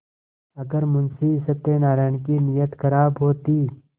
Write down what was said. अगर मुंशी सत्यनाराण की नीयत खराब होती